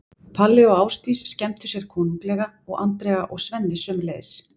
Palli og Ásdís skemmtu sér konunglega og Andrea og Svenni sömuleiðis.